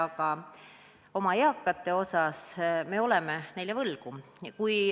Aga oma eakatele oleme võlgu.